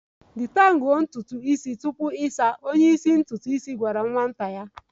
Detangle ntutu isi ya tupu ịsa ahụ! Onye isi ntutu isi gwara nwata ya